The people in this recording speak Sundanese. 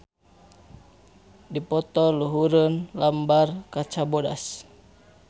Dipoto luhureun lambar kaca bodas.